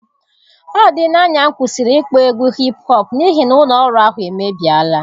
Ọ dịla anya m kwụsịrị ịkpọ egwu hipụ họp, n'ihi na ụlọ ọrụ ahụ emebiela.